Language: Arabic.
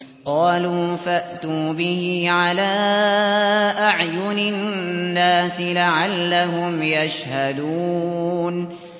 قَالُوا فَأْتُوا بِهِ عَلَىٰ أَعْيُنِ النَّاسِ لَعَلَّهُمْ يَشْهَدُونَ